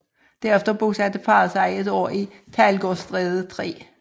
Derefter bosatte parret sig et år i Teglgårdstræde 3